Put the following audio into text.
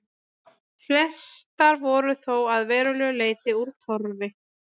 Flestar voru þó að verulegu leyti úr torfi.